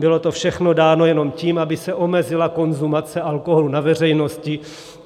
Bylo to všechno dáno jenom tím, aby se omezila konzumace alkoholu na veřejnosti.